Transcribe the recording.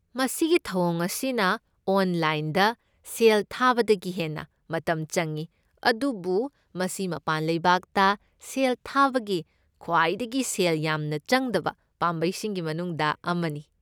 ꯃꯁꯤꯒꯤ ꯊꯧꯑꯣꯡ ꯑꯁꯤꯅ ꯑꯣꯟꯂꯥꯏꯟꯗ ꯁꯦꯜ ꯊꯥꯕꯗꯒꯤ ꯍꯦꯟꯅ ꯃꯇꯝ ꯆꯪꯏ, ꯑꯗꯨꯕꯨ ꯃꯁꯤ ꯃꯄꯥꯟ ꯂꯩꯕꯥꯛꯇ ꯁꯦꯜ ꯊꯥꯕꯒꯤ ꯈ꯭ꯋꯥꯏꯗꯒꯤ ꯁꯦꯜ ꯌꯥꯝꯅ ꯆꯪꯗꯕ ꯄꯥꯝꯕꯩꯁꯤꯡꯒꯤ ꯃꯅꯨꯡꯗ ꯑꯃꯅꯤ꯫